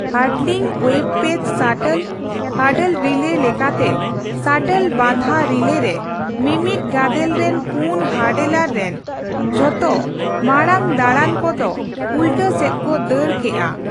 Hurdling ᱳᱭᱮᱵ ᱯᱮᱡ shuttle hurdle relay ᱞᱮᱠᱟᱛᱮ ᱥᱟᱴᱚᱞ ᱵᱟᱫᱷᱟ ᱨᱤᱞᱮ ᱨᱮ, ᱢᱤᱢᱤᱫ ᱜᱟᱫᱮᱞ ᱨᱤᱱ ᱯᱩᱱ ᱦᱟᱨᱰᱞᱚᱨ ᱨᱮᱱ ᱡᱷᱚᱛᱚ ᱢᱟᱲᱟᱝ ᱫᱟᱹᱲᱟᱱ ᱠᱚᱫᱚ ᱩᱞᱴᱟ ᱥᱮᱫ ᱠᱚ ᱫᱟᱹᱲ ᱠᱮᱜᱼᱟ ᱾